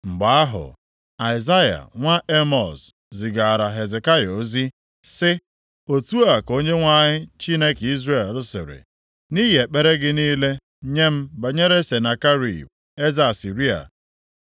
Mgbe ahụ, Aịzaya nwa Emọz, zigaara Hezekaya ozi, sị, “Otu a ka Onyenwe anyị, Chineke Izrel, sịrị, Nʼihi ekpere gị niile nye m banyere Senakerib, eze Asịrịa,